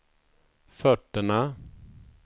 fötterna